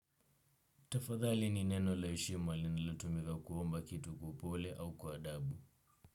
Tafadhali ni neno la heshima linalotumika kuomba kitu kwa upole au kwa adabu.